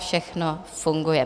Všechno funguje.